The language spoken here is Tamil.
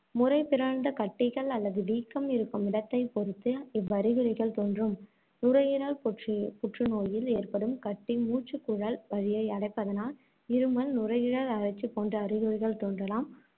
முறை பிறழ்ந்த கட்டிகள் அல்லது வீக்கம் இருக்கும் இடத்தைப் பொறுத்து இவ்வறிகுறிகள் தோன்றும். நுரையீரல் புற்று~ புற்றுநோயில் ஏற்படும் கட்டி மூச்சுக்குழல் வழியை அடைப்பதனால், இருமல், நுரையீரல் அழற்சி போன்ற அறிகுறிகள் தோன்றலாம்.